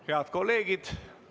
Head kolleegid!